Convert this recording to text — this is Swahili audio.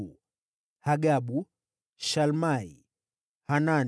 wazao wa Hagabu, Shalmai, Hanani,